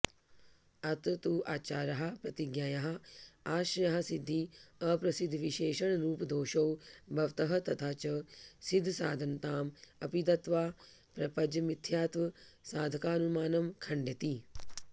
अत्र तू आचार्याः प्रतिज्ञायाः आश्रयासिद्धि अप्रसिद्धविशेषणरूपदोषौ भवतः तथा च सिद्धसाधनतां अपि दत्त्वा प्रपञ्चमिथ्यात्वसाधकानुमानं खण्डयति